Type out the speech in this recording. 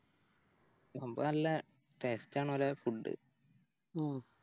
സംഭാവോ നല്ല Taste ആണോലെ Food